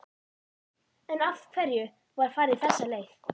En af hverju var farið þessa leið?